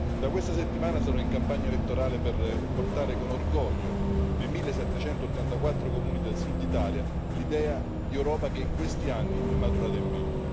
Da questa settimana sarò in campagna elettorale per portare con orgoglio nei 1784 Comuni del Sud d'Italia l'idea di Europa che in questi anni è maturata in me.